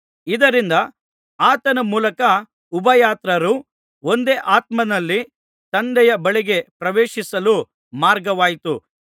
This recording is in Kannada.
ಇದರಿಂದ ಆತನ ಮೂಲಕ ಉಭಯತ್ರರು ಒಂದೇ ಆತ್ಮನಲ್ಲಿ ತಂದೆಯ ಬಳಿಗೆ ಪ್ರವೇಶಿಸಲು ಮಾರ್ಗವಾಯಿತು